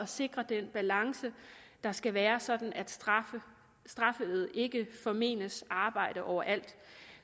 sikrer den balance der skal være sådan at straffede ikke formenes arbejde overalt